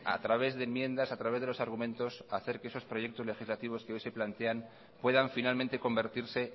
a través de enmiendas a través de los argumentos hacer que esos proyectos legislativos que hoy se plantean puedan finalmente convertirse